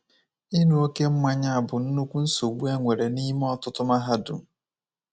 Ịṅụ oké mmanya bụ nnukwu nsogbu e nwere n’ime ọtụtụ mahadum.